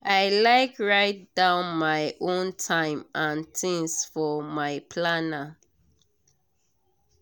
i like write down my own time and things for my planner.